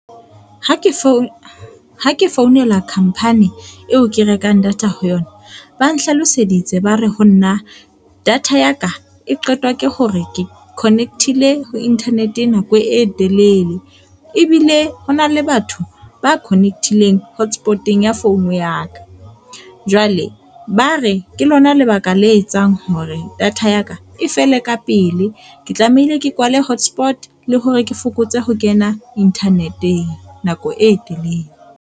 Ha ke phone ha ke founela khampani eo ke rekang data ho yona. Ba nhlaloseditse ba re ho nna data ya ka e qetwa ke hore ke connect-ile ho internet nako e telele. Ebile ho na le batho ba connect-ileng hotspot-eng ya founu ya ka. Jwale ba re ke lona lebaka le etsang hore data ya ka e fele. Ka pele ke tlamehile ke kwale hotspot le hore ke fokotse ho kena internet-eng nako e telele.